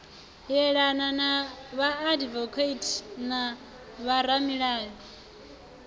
yelana na vhaadivokati na vhoramilayo